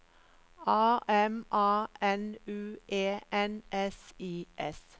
A M A N U E N S I S